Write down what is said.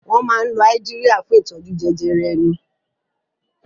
Wọ́n máa ń lo Áídíríà fún ìtọ́jú jẹjẹrẹ ẹnu.